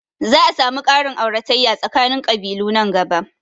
Za a samu ƙarin auratayya tsakanin ƙabilu nan gaba